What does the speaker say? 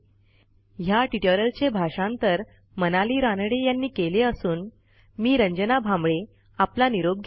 ह्या ट्युटोरियलचे भाषांतर मनाली रानडे यांनी केले असून मी रंजना भांबळे आपला निरोप घेते